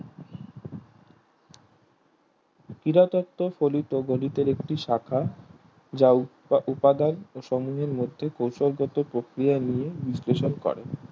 ক্রীড়া তত্ত্ব ফলিত গণিতের একটি শাখা যা উপাদান সম্মূহের মধ্যে কৌশল গত প্রক্রিয়া নিয়ে বিশ্লেষণ করে